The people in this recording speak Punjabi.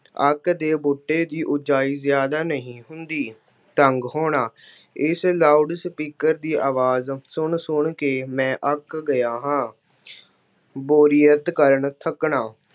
ਅੱਕ ਦੇ ਬੂਟੇ ਦੀ ਉੱਚਾਈ ਜ਼ਿਆਦਾ ਨਹੀਂ ਹੁੰਦੀ। ਤੰਗ ਹੋਣਾ- ਇਸ loud speaker ਦੀ ਆਵਾਜ਼ ਸੁਣ-ਸੁਣ ਕੇ ਮੈਂ ਅੱਕ ਗਿਆ ਹਾਂ। ਬੋਰੀਅਤ ਕਰ ਥੱਕਣਾ,